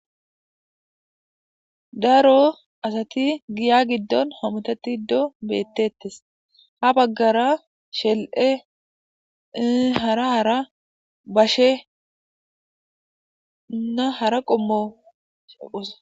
daro asati giya giddon homotati ddo bettettes ha baggara shel7e hara hara bashe una hara qommousa